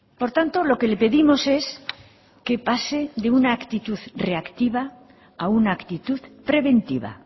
por tanto lo que le pedimos es que pase de una actitud reactiva a una actitud preventiva